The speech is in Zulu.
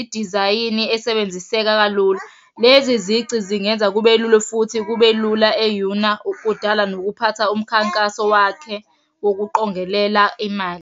idizayini esebenziseka kalula. Lezi zici zingenza kube lula futhi kube lula eyuna, kudala nokuphatha umkhankaso wakhe wokuqongelela imali.